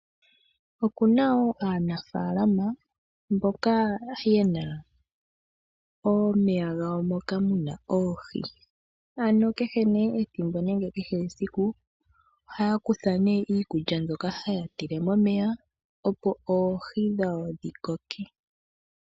Okuna wo aanafalama mboka yena omeya gawo moka muna oohi. Ano kehe nee ethimbo nenge kehe esiku ohaya kutha nee iikulya mbyoka haye yi tile momeya opo oohi dhawo dhikoke.